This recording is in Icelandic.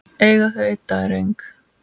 Eiga þau einn dreng.